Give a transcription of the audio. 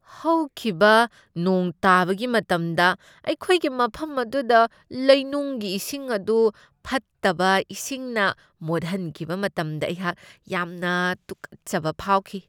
ꯍꯧꯈꯤꯕ ꯅꯣꯡ ꯇꯥꯕꯒꯤ ꯃꯇꯝꯗ ꯑꯩꯈꯣꯏꯒꯤ ꯃꯐꯝ ꯑꯗꯨꯗ ꯂꯩꯅꯨꯡꯒꯤ ꯏꯁꯤꯡ ꯑꯗꯨ ꯐꯠꯇꯕ ꯏꯁꯤꯡꯅ ꯃꯣꯠꯍꯟꯈꯤꯕ ꯃꯇꯝꯗ ꯑꯩꯍꯥꯛ ꯌꯥꯝꯅ ꯇꯨꯛꯀꯠꯆꯕ ꯐꯥꯎꯈꯤ꯫